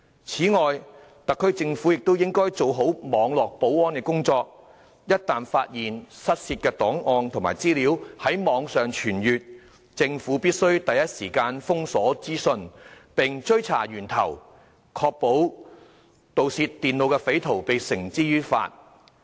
此外，特區政府亦應做好網絡保安的工作，一旦發現失竊的檔案和資料在網上傳閱，政府必須第一時間封鎖資訊，並追查源頭，確保將盜竊電腦的匪徒繩之於法。